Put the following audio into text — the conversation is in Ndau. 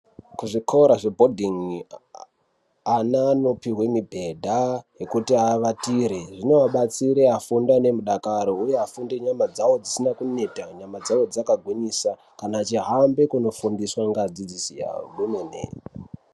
Kuzvikora zvebhodhingi, aana anopihwe mibhedha yekuti avatire. Zvinoabatsira afunde nemudakaro ,uye afunde nyama dzavo dzisina kuneta, nyama dzavo dzakagwinyisa kana achihambe kunofundiswa ngeadzidzisi avo kwemene.